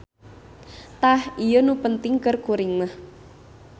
Tah ieu nu penting keur kuring mah.